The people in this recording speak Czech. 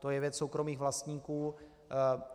To je věc soukromých vlastníků.